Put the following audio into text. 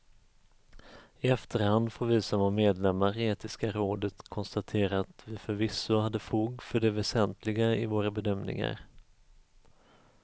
I efterhand får vi som var medlemmar i etiska rådet konstatera att vi förvisso hade fog för det väsentliga i våra bedömningar.